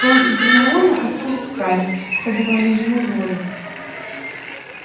рон и гермиона остались с гарри подавали ему воду